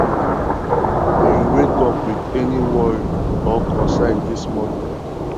you wake up with any worry or concern dis morning